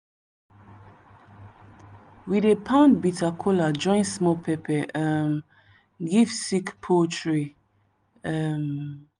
we dey pound bitter kola join small pepper um give sick poultry. um